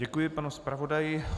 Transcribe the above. Děkuji panu zpravodaji.